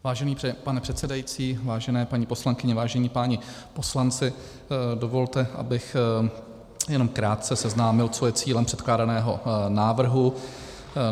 Vážený pane předsedající, vážené paní poslankyně, vážení páni poslanci, dovolte, abych jenom krátce seznámil, co je cílem předkládaného návrhu.